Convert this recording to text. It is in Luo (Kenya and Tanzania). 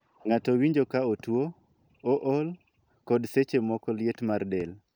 Ng'ato winjo ka otuo, ool, kod seche moko liet mar del.